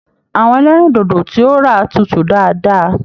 Àwọn ẹlẹrindodo tí o rà tútù dáadáa.